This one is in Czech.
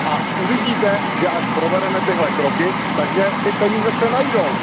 A uvidíte, že až provedeme tyhle kroky, takže ty peníze se najdou.